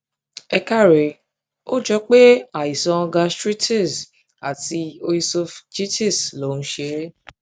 ẹ káre ó jọ pé àìsàn gastritis àti oesophgitis ló ń ṣe é